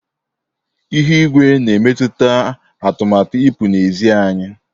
Ihu igwe na emetụta atụmatụ ipụ na ezị́ anyi.